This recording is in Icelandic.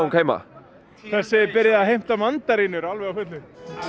heima þessi byrjaði að heimta mandarínum alveg á fullu